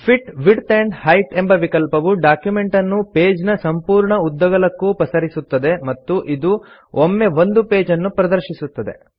fit width and height ಎಂಬ ವಿಕಲ್ಪವು document ಅನ್ನು ಪೇಜ್ ನ ಸಂಪೂರ್ಣ ಉದ್ದಗಲಕ್ಕೂ ಪಸರಿಸುತ್ತದೆ ಮತ್ತು ಇದು ಒಮ್ಮೆ ಒಂದು ಪೇಜ್ ಅನ್ನು ಪ್ರದರ್ಶಿಸುತ್ತದೆ